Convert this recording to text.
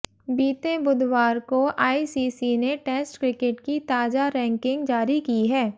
बीते बुधवार को आईसीसी ने टेस्ट क्रिकेट की ताजा रैंकिंग जारी की है